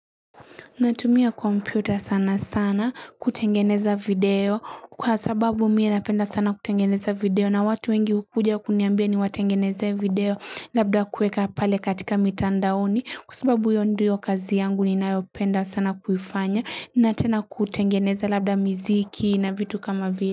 Natumia kompyuta sana sana kutengeneza video kwasababu mimi napenda sana kutengeneza video na watu wengi hukuja kuniambia ni watengeneze video labda kueka pale katika mitandaoni kwasababu hiyo ndiyo kazi yangu ninayopenda sana kuifanya na tena kutengeneza labda miziki na vitu kama vile.